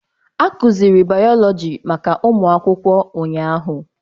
A kụziiri bayọlọji maka ụmụ akwụkwọ ụnyahụ.